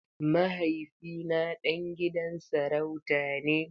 Mahaifina ɗan gidan sarauta ne.